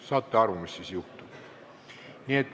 Saate aru, mis siis juhtub.